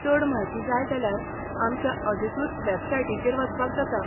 चड म्हायती जाय जाल्यार आमच्या अधिकृत वॅबसायटीचेर वचपाक जाता.